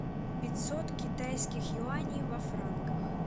пятьсот китайских юаней во франках